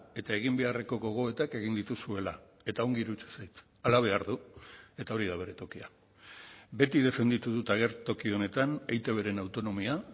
eta egin beharreko gogoetak egin dituzuela eta ongi iruditzen zait hala behar du eta hori da bere tokia beti defenditu dut agertoki honetan eitbren autonomia